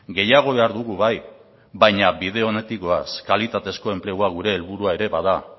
gehiago behar dugu bai baina bide onetik goaz kalitatezko enplegua gure helburua ere bada